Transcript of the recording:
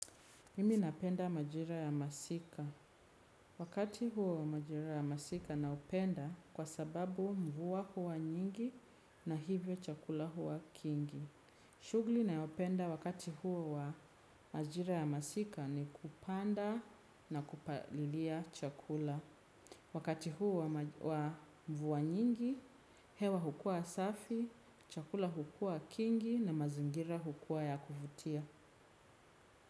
Mimi napenda majira ya masika. Wakati huo majira ya masika naupenda kwa sababu mvua huwa nyingi na hivyo chakula huwa kingi. Shugli nayopenda wakati huo wa majira ya masika ni kupanda na kupalilia chakula. Wakati huo wa mvua nyingi, hewa hukuwa safi, chakula hukuwa kingi na mazingira hukuwa ya kuvutia.